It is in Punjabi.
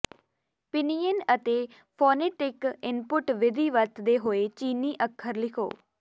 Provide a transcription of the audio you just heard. ਪਿਨਯਿਨ ਅਤੇ ਫੋਨੇਟਿਕ ਇਨਪੁਟ ਵਿਧੀ ਵਰਤਦੇ ਹੋਏ ਚੀਨੀ ਅੱਖਰ ਲਿਖੋ